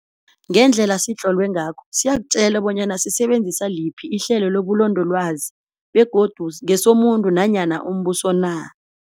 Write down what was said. Ngendlela sitlolwe ngakho siyakutjela bonyana sisebenzisa liphi ihlelo lobulondolwazi begodi ngesomuntu nanyana umbuso na.